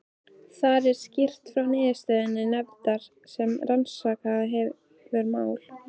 Þar er skýrt frá niðurstöðum nefndar sem rannsakað hefur mál